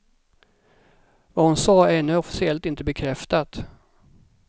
Vad hon sa är ännu officiellt inte bekräftat.